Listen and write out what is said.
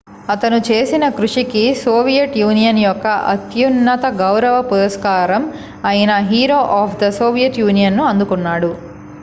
"అతను చేసిన కృషికి సోవియట్ యూనియన్ యొక్క అత్యున్నత గౌరవ పురస్కారం అయిన "Hero of the Soviet Union" ను అందుకున్నాడు.